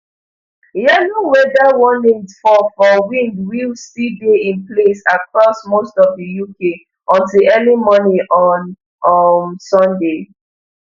yellow weather warnings for for wind will still dey in place across most of di uk until early morning on um sunday